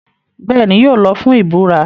Bẹ́ẹ̀ni, yóò lọ fún ìburá.